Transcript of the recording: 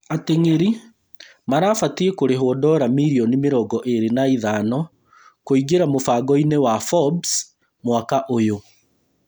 Ateng’eri marabatiĩ kũrĩhwo dora mirioni mĩrongo ĩĩrĩ na ithano kũingĩra mũbango-inĩ wa Forbes mwaka ũyũ